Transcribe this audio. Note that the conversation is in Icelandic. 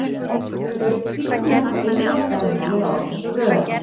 Hlaupvíddin er þá innra þvermálið á þessu röri.